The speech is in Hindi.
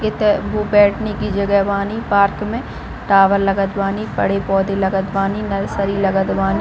इथे वो बैठने की जगह बानी पार्क में टावर लगत बानी बड़े पौधे लगत बानी नर्सरी लगत बानी--